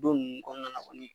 Don nunnu kɔnɔna na kɔni.